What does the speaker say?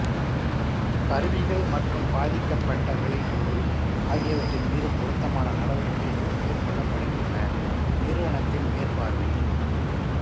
கருவிகள் மற்றும் பாதிக்கப்பட்ட விளைபொருள் ஆகியவற்றின் மீது பொருத்தமான நடவடிக்கைகள் மேற்கொள்ளப்படுகின்றன நிறுவனத்தின் மேற்பார்வையில்